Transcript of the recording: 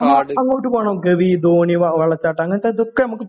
ആ. അങ്ങോട് പോകാം നമുക്ക്. വെള്ളച്ചാട്ടം. അങ്ങനത്തെ ഇതൊക്കെ നമുക്ക്